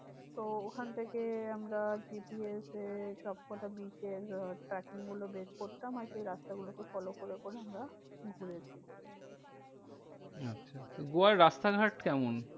তো ওখান থেকে আমরা GPS এ সবকটা beach এর আহ starting গুলো বের করতাম। আর সেই রাস্তা গুলোকে follow করে করে আমরা ঘুরেছি। আচ্ছা তো গোয়ার রাস্তাঘাট কেমন?